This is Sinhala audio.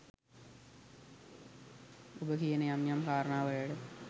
ඔබ කියන යම් යම් කාරණා වලට